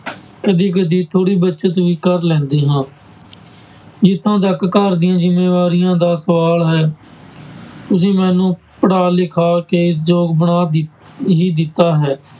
ਕਦੀ ਕਦੀ ਥੋੜ੍ਹੀ ਬਚਤ ਵੀ ਕਰ ਲੈਂਦੇ ਹਾਂ ਜਿੱਥੋਂ ਤੱਕ ਘਰ ਦੀਆਂ ਜ਼ਿੰਮੇਵਾਰੀਆਂ ਦਾ ਸਵਾਲ ਹੈ ਤੁਸੀਂ ਮੈਨੂੰ ਪੜ੍ਹਾ ਲਿਖਾ ਕੇ ਯੋਗ ਬਣਾ ਦਿ ਹੀ ਦਿੱਤਾ ਹੈ,